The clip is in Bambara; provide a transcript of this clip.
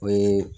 O ye